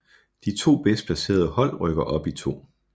De to bedst placerede hold rykker op i 2